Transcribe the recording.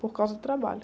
Por causa do trabalho.